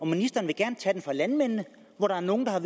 ministeren vil gerne tage den fra landmændene der er nogle der har